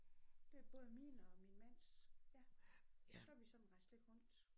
Det er både min og mands ja så har vi sådan rejst lidt rundt